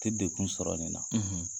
Te dekun sɔrɔ nin na.